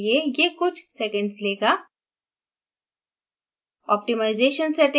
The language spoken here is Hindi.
उपयुक्त बनाने के लिए ये कुछ सेकंड्स लेगा